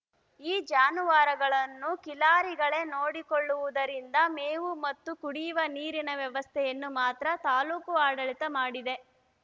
ಈ ಜಾನುವಾರುಗಳನ್ನು ಕಿಲಾರಿಗಳೇ ನೋಡಿಕೊಳ್ಳುವುದರಿಂದ ಮೇವು ಮತ್ತು ಕುಡಿವ ನೀರಿನ ವ್ಯವಸ್ಥೆಯನ್ನು ಮಾತ್ರ ತಾಲೂಕು ಆಡಳಿತ ಮಾಡಿದೆ